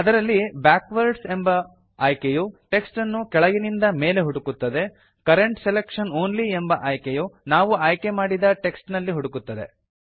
ಅದರಲ್ಲಿ ಬ್ಯಾಕ್ವರ್ಡ್ಸ್ ಎಂಬ ಆಯ್ಕೆಯು ಟೆಕ್ಸ್ಟ್ ಅನ್ನು ಕೆಳಗಿನಿಂದ ಮೇಲೆ ಹುಡುಕುತ್ತದೆ ಕರೆಂಟ್ ಸೆಲೆಕ್ಷನ್ ಆನ್ಲಿ ಎಂಬ ಆಯ್ಕೆಯು ನಾವು ಆಯ್ಕೆಮಾಡಿದ ಟೆಕ್ಸ್ಟ್ ನಲ್ಲಿ ಹುಡುಕುತ್ತದೆ